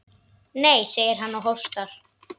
Nei, segir hann og hóstar.